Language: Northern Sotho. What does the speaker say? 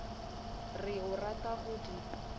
re o rata go di